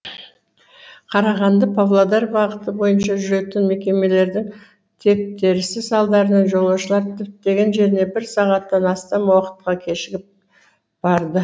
қарағанды павлодар бағыты бойынша жүретін мекемелердің тектірес салдарынан жолаушылар діттеген жеріне бір сағаттан астам уақытқа кешігіп барды